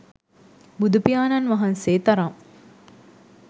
බුදුපියාණන් වහන්සේ තරම්